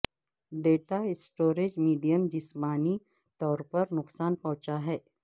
data storage medium جسمانی طور پر نقصان پہنچا ہے